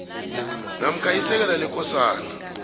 namkha isekela lekosana